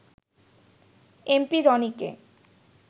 MP রনিকে